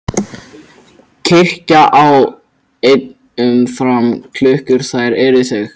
Kirkja á enn um fram klukkur þær er þau